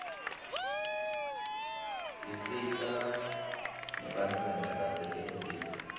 isita nebantfwana basetinkhulisa